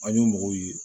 An ye mɔgɔw ye